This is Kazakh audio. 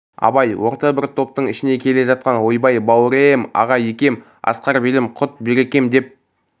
абай орта бір топтың ішінде келе жатқан ойбай бауре-е-м аға екем асқар белім құт берекем деп